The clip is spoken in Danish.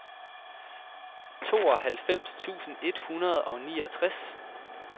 tooghalvfems tusind et hundrede og niogtres